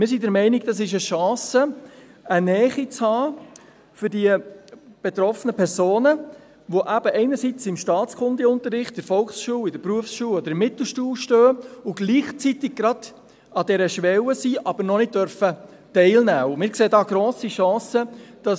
Wir sind der Meinung, für die betroffenen Personen, welche eben einerseits im Staatskundeunterricht in der Volkschule, in der Berufsschule oder in der Mittelschule stehen, andererseits gleichzeitig gerade an dieser Schwelle sind, aber noch nicht teilnehmen dürfen, sei es eine Chance, eine Nähe zu haben.